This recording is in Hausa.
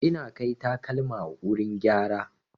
Ina kai takalma wurin gyara.